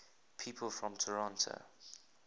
people from toronto